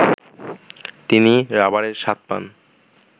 তিনি রাবারের স্বাদ পান